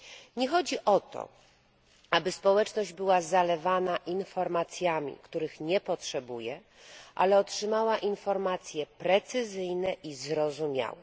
Nie chodzi o to, aby społeczność była zalewana informacjami, których nie potrzebuje, ale by otrzymała informacje precyzyjne i zrozumiałe.